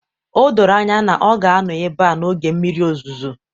O doro anya na ọ ga-anọ ebe a n'oge mmiri ozuzo